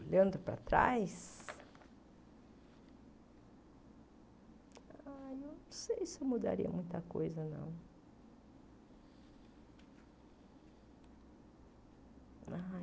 Olhando para trás, não sei se mudaria muita coisa, não.